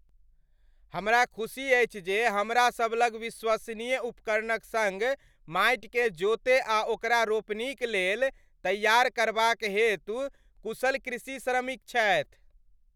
हमरा खुशी अछि जे हमरासब लग विश्वसनीय उपकरणक सङ्ग माटिकेँ जोतय आ ओकरा रोपनीक लेल तैयार करबाक हेतु कुशल कृषि श्रमिक छथि।